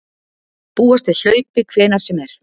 Búast við hlaupi hvenær sem er